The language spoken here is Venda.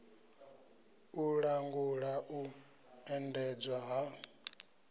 u langula u endedzwa ha